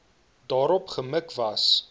daarop gemik was